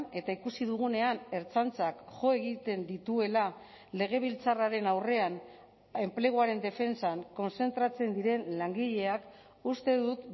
eta ikusi dugunean ertzaintzak jo egiten dituela legebiltzarraren aurrean enpleguaren defentsan kontzentratzen diren langileak uste dut